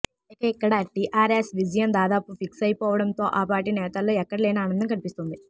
ఇక ఇక్కడ టీఆర్ఎస్ విజయం దాదాపు ఫిక్స్ అయిపోవడంతో ఆ పార్టీ నేతల్లో ఎక్కడలేని ఆనందం కనిపిస్తోంది